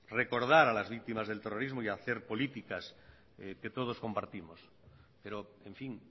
recordar a las víctimas del terrorismo y hacer políticas que todos compartimos pero en fin